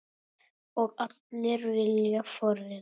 Og allir vilja forrita?